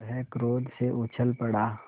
वह क्रोध से उछल पड़ा